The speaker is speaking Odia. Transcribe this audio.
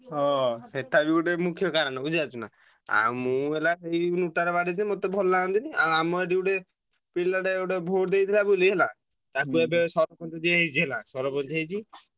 ହଁ ସେଟା ବି ଗୋଟେ ମୁଖ୍ୟ କାରଣ ବୁଝିପାରୁଛୁ ନାଁ ଆଉ ମୁଁ ହେଲା ସେଇ ନୋଟା ରେ ବାଡେଇଦିଏ ମତେ ଭଲ ଲଗନ୍ତିନି ଆଉ ଆମ ଏଠି vote ଦେଇଥିଲା ବୋଲି ହେଲା, ତାକୁ ଏବେ ସରପଞ୍ଚ ଯିଏ ହେଇଛି ହେଲା ସରପଞ୍ଚ ହେଇଛି ତାକୁ ଯେତବେଳେ।